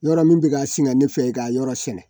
Yɔrɔ min bɛ ka singa ne fɛ ka yɔrɔ sɛnɛ